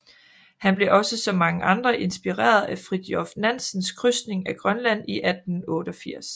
Han blev også som mange andre inspireret af Fridtjof Nansens krydsning af Grønland i 1888